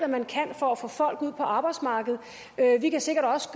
man kan for at få folk ud på arbejdsmarkedet vi kan sikkert også